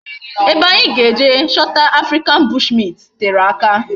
Ebe anyi ga eje chota African bushmint tere aka